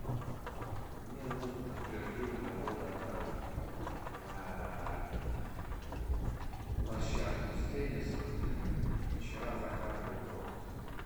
мне нужно подтверждение моего заказа на площадку с теннисом вчера заказывал корт